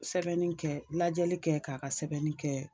Sɛbɛnni kɛ lajɛli kɛ k'a ka sɛbɛnni kɛ